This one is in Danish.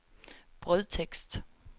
brødtekst